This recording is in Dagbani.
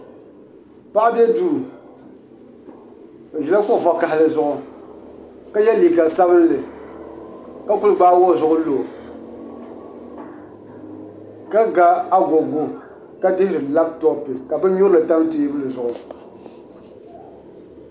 Paɣa do duu o ʒila kuɣu vakaɣali zuɣu ka yɛ liiga sabinli ka kuli gbaagi o zuɣu lo ka ga agogo ka dihiri labtop ka bin nyurili tam teebuli zuɣu